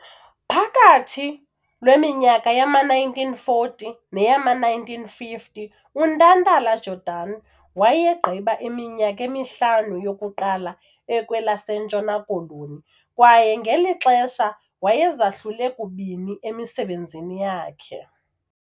Phakathi lweminyaka yama-1940 neyama-1950 uNtantala-Jordan wayegqiba iminyaka emihlanu yokuqala ekwelaseNtshona Koloni kwaye ngeli xesha wayezahlule kubini emisebenzini yakhe.